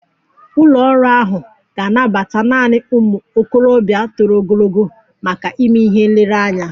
Ụlọ ọrụ ahụ ga-anabata naanị ụmụ okorobịa toro ogologo maka ịme ihe nlereanya